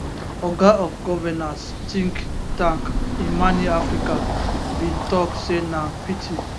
oga of governance think tank imani africa bin tok say na pity